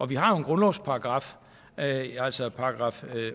vi har jo grundlovsparagraf altså §